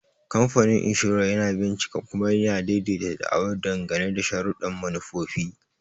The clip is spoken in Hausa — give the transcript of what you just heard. Kamfanin Inshorar yana bincika kuma ya daidaita da'awar dangane da sharuɗɗan manufofi.